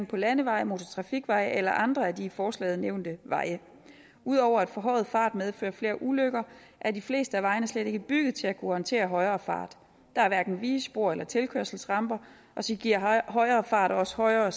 på landeveje motortrafikveje eller andre af de i forslaget nævnte veje ud over at forhøjet fart medfører flere ulykker er de fleste af vejene slet ikke bygget til at kunne håndtere højere fart der er hverken vigespor eller tilkørselsramper og så giver højere fart også højere